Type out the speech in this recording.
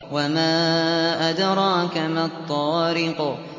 وَمَا أَدْرَاكَ مَا الطَّارِقُ